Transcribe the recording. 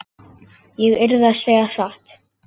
Ég yrði að segja satt.